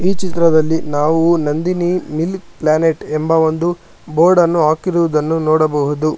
ಈ ಚಿತ್ರದಲ್ಲಿ ನಾವು ನಂದಿನಿ ಮಿಲ್ಕ್ ಪ್ಲಾನೆಟ್ ಎಂದು ಬೋರ್ಡನ್ನು ಹಾಕಿರುವುದನ್ನು ನೋಡಬಹುದು.